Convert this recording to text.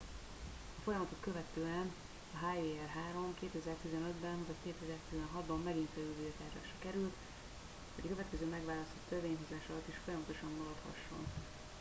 a folyamatot követően a hjr-3 2015 ben vagy 2016 ban megint felülvizsgálásra kerül hogy a következő megválasztott törvényhozás alatt is folyamatban maradhasson